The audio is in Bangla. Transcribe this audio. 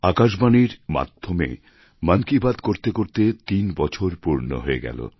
আকাশবাণীর মাধ্যমে মন কি বাত করতে করতে তিন বছর পূর্ণ হয়ে গেল